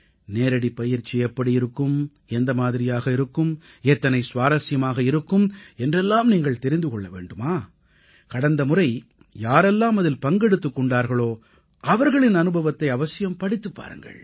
நேரடிப்பயிற்சி எப்படி இருக்கும் எந்த மாதிரியாக இருக்கும் எத்தனை சுவாரசியமாக இருக்கும் என்று எல்லாம் நீங்கள் தெரிந்து கொள்ள வேண்டுமா கடந்தமுறை யாரெல்லாம் அதில் பங்கெடுத்துக் கொண்டார்களோ அவர்களின் அனுபவத்தை அவசியம் படித்துப் பாருங்கள்